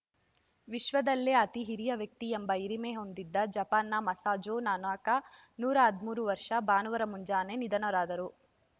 ವಿಶ್ವದಲ್ಲೇ ಅತಿಹಿರಿಯ ವ್ಯಕ್ತಿ ಎಂಬ ಹಿರಿಮೆ ಹೊಂದಿದ್ದ ಜಪಾನ್‌ನ ಮಸಾಝೋ ನೊನಾಕಾ ನೂರ ಹದಿಮೂರು ಭಾನುವಾರ ಮುಂಜಾನೆ ನಿಧನರಾದರು